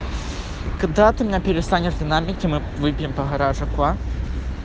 когда ты меня перестанешь динамить и мы выпьем по гаражику а